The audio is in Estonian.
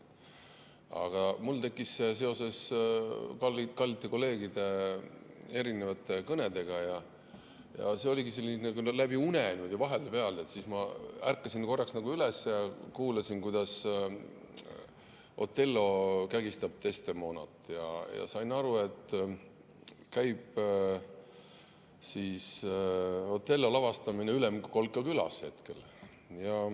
" Aga mul tekkis see seoses kallite kolleegide erinevate kõnedega, see oligi selline küll läbi une, vahepeal ma ärkasin korraks üles, kuulasin, kuidas Othello kägistab Desdemonat, ja sain aru, et hetkel käib "Othello" lavastamine Ülemkolka külas.